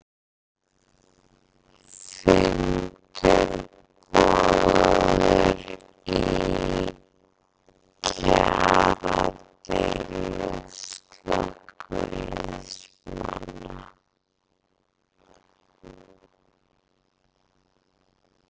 Fundur boðaður í kjaradeilu slökkviliðsmanna